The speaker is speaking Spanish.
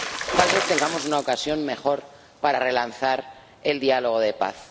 tal vez tengamos una ocasión mejor para relanzar el diálogo de paz.